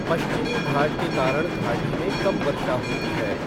पश्चिमी घाट के कारण घाटी में कम वर्षा होती है।